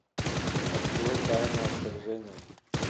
открой тайное вторжение